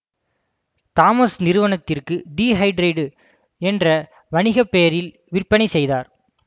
Thomas நிறுவனத்திற்கு dehydrite என்ற வணிக பெயரில் விற்பனை செய்தார்